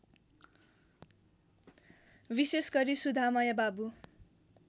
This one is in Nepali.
विशेषगरी सुधामय बाबु